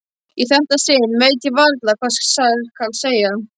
Í þetta sinn veit ég varla hvað skal segja.